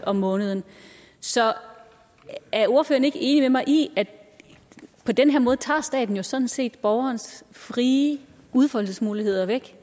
om måneden så er ordføreren ikke enig med mig i at på den her måde tager staten jo sådan set borgerens frie udfoldelsesmuligheder væk